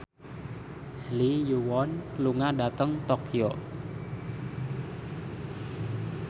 Lee Yo Won lunga dhateng Tokyo